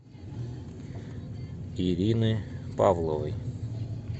ирины павловой